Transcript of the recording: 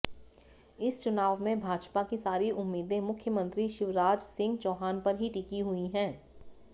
इस चुनाव में भाजपा की सारी उम्मीदें मुख्यमंत्री शिवराजसिंह चौहान पर ही टिकी हुई हैं